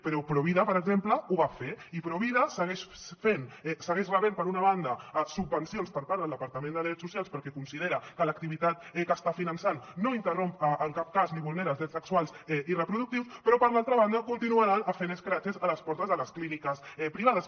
però provida per exemple ho va fer i provida segueix rebent per una banda subvencions per part del departament de drets socials perquè considera que l’activitat que està finançant no interromp en cap cas ni vulnera els drets sexuals i reproductius però per l’altra banda continuaran fent escraches a les portes de les clíniques privades